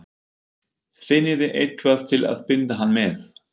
FINNIÐI EITTHVAÐ TIL AÐ BINDA HANN MEÐ!